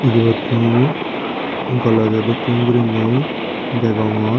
ebot mui glojaw dokken guriney degongor.